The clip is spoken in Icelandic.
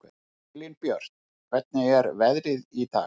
Elínbjört, hvernig er veðrið í dag?